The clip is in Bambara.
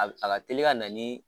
A b a ka teli ka na ni